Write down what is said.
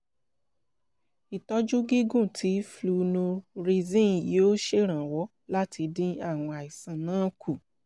ìtọ́jú gígùn ti flunarizine yóò ṣèrànwọ́ láti dín àwọn àìsàn náà kù